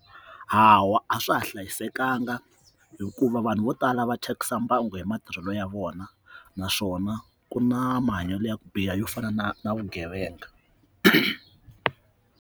Hawa a swa ha hlayisekanga hikuva vanhu vo tala va thyakisa mbangu hi matirhelo ya vona naswona ku na mahanyelo ya ku biha yo fana na na vugevenga.